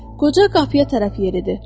Qoca qapıya tərəf yeridi.